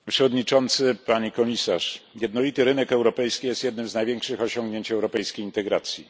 Panie Przewodniczący! Pani Komisarz! Jednolity rynek europejski jest jednym z największych osiągnięć europejskiej integracji.